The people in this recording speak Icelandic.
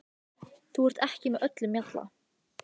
Þú ert ekki með öllum mjalla